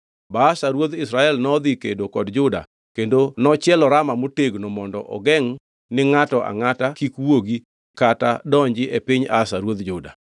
Baasha ruodh Israel nodhi kedo kod Juda kendo nochielo Rama motegno mondo ogengʼ ni ngʼato angʼata kik wuogi kata donji e piny Asa ruodh Juda.